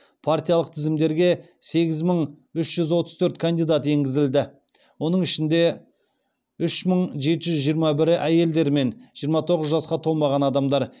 партиялық тізімдерге сегіз мың үш жүз отыз төрт кандидат енгізілді оның ішінде үш мың жеті жүз жиырма бірі әйелдер мен жиырма тоғыз жасқа толмаған адамдар